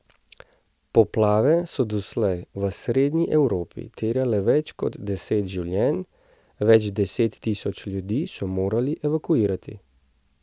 Poplave so doslej v srednji Evropi terjale več kot deset življenj, več deset tisoč ljudi so morali evakuirati.